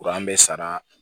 Kuran bɛ sara